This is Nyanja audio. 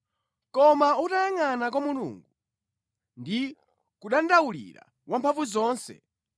Koma utayangʼana kwa Mulungu, ndi kudandaulira Wamphamvuzonse,